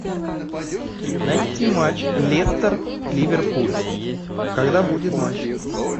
найти матч лестер ливерпуль когда будет матч